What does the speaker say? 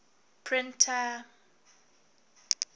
printer